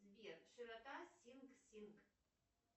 сбер широта синг синг